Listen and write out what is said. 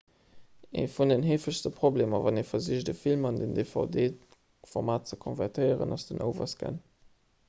ee vun den heefegste problemer wann ee versicht e film an den dvd-format ze konvertéieren ass den overscan